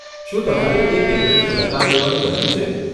શું તમારે એ કેન્દ્રની મુલાકાત લેવાનું બન્યું છે?